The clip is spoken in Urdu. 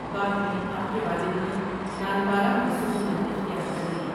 بعد میں آپ کے والد نے نانپارہ میں سکونیت اختیار کر لی ۔